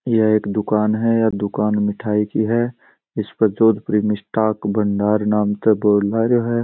यह एक दुकान है दुकान मिठाई की है इस पर जोधपुरी मिष्ठान भंडार नाम का बोर्ड लागरो है।